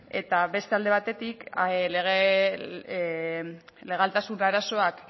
eta beste alde batetik legaltasun arazoak